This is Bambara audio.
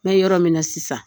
N bɛ yɔrɔ min na sisan